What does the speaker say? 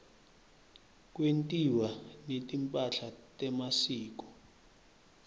kwentiwa netimpahla temasiko